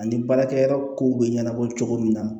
Ani baarakɛyɔrɔ kow bɛ ɲɛnabɔ cogo min na